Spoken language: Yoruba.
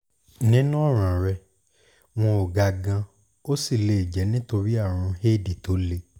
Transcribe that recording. nínú ọ̀ràn rẹ wọn ò ga gan-an ó sì lè jẹ́ nítorí àrùn éèdì tó le